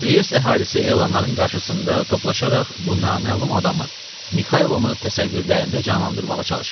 Triest əhalisi elanların qarşısında toplaşaraq bu naməlum adamı Mixaylonu təsəvvürlərində canlandırmağa çalışırdı.